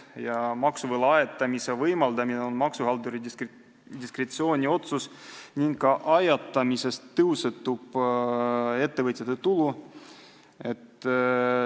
Ja maksuvõla ajatamise võimaldamine on maksuhaldurite diskretsiooniotsus ning ka ajatamisest tõusetub ettevõtjale tulu.